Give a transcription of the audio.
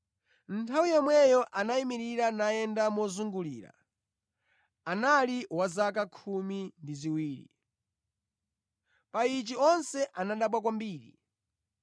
Nthawi yomweyo anayimirira nayenda mozungulira (anali wa zaka khumi ndi ziwiri). Pa ichi onse anadabwa kwambiri.